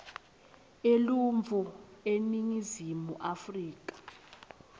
eluntfu eningizimu afrika